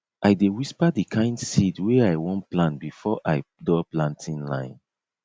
i dey whisper di kind seed wey i wan plant before i draw planting line